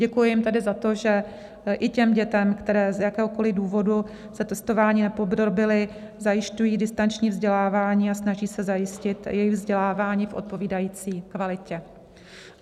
Děkuji jim tedy za to, že i těm dětem, které z jakéhokoliv důvodu se testování nepodrobily, zajišťují distanční vzdělávání a snaží se zajistit jejich vzdělávání v odpovídající kvalitě.